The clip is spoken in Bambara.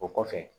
O kɔfɛ